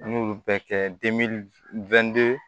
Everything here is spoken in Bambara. An y'olu bɛɛ kɛ